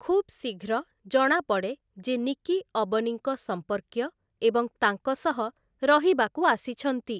ଖୁବ୍ ଶୀଘ୍ର, ଜଣାପଡ଼େ ଯେ ନିକି ଅବନୀଙ୍କ ସମ୍ପର୍କୀୟ ଏବଂ ତାଙ୍କ ସହ ରହିବାକୁ ଆସିଛନ୍ତି ।